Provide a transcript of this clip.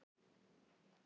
Haldiði svo kjafti!